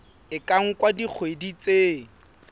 e ka nka dikgwedi tse